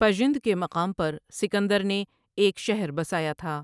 پجند کے مقام پر سکندر نے ایک شہر بسایا تھا ۔